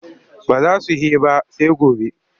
Ba za su he ba sai gobe.